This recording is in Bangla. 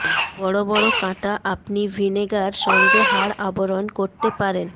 বড় বড় কাঁটা আপনি ভিনেগার সঙ্গে হাড় আবরণ করতে পারেন